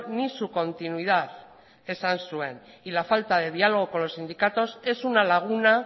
ni su continuidad esan zuen y la falta de diálogo con los sindicatos es una laguna